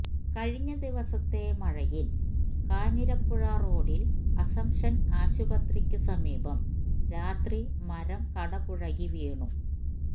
കഴിഞ്ഞ ദിവസത്തെ മഴയിൽ കാഞ്ഞിരപ്പുഴ റോഡിൽ അസംപ്ഷൻ ആശുപത്രിക്കു സമീപം രാത്രി മരം കടപുഴകി വീണു